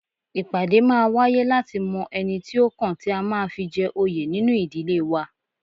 Ìpàdé máa wáyé láti mọ ẹni tí ó kàn tí a máa fi jẹ òye nínu ìdílé wa